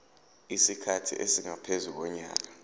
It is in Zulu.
isikhathi esingaphezu konyaka